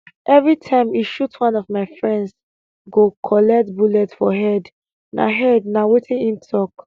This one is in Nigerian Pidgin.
evri time e shoot one of my friends go collect bullet for head na head na wetin im tok